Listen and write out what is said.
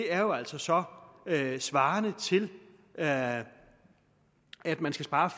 er jo altså så svarende til at at man skal spare